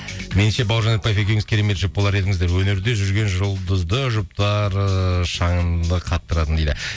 меніңше бауыржан ретпаев екеуіңіз керемет жұп болар едіңіздер өнерде жүрген жұлдызды жұптар ыыы шаңды қақтыратын дейді